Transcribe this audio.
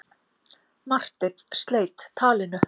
Marteinn sleit talinu.